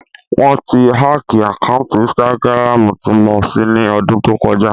Wọ́n ti hákìì àkáǹtì ínstágíráàmù tí mo ṣí ní ọdún tó kọjá